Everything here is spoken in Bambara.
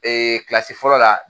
Ee kilasi fɔlɔ la